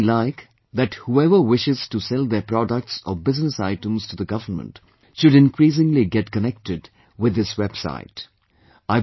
I would certainly like that whoever wishes to sell their products or business items to the government, should increasingly get connected with this website